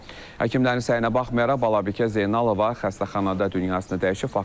Həkimlərin səyinə baxmayaraq Balabikə Zeynalova xəstəxanada dünyasını dəyişib.